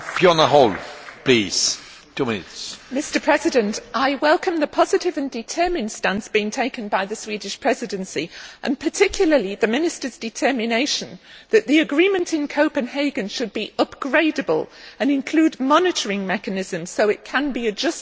Mr President, I welcome the positive and determined stance being taken by the Swedish Presidency, and particularly the Minister's determination that the agreement in Copenhagen should be upgradable and include monitoring mechanisms so that it can be adjusted in the light of new scientific research.